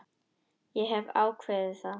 Ég hef ákveðið það.